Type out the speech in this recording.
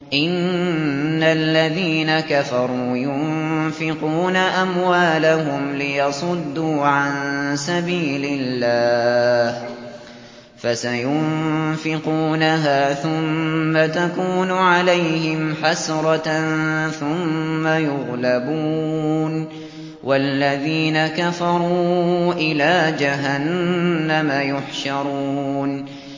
إِنَّ الَّذِينَ كَفَرُوا يُنفِقُونَ أَمْوَالَهُمْ لِيَصُدُّوا عَن سَبِيلِ اللَّهِ ۚ فَسَيُنفِقُونَهَا ثُمَّ تَكُونُ عَلَيْهِمْ حَسْرَةً ثُمَّ يُغْلَبُونَ ۗ وَالَّذِينَ كَفَرُوا إِلَىٰ جَهَنَّمَ يُحْشَرُونَ